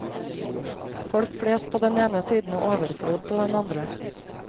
Folk flest på den ene siden og overflod på den andre.